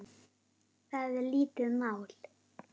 Það er lítið mál.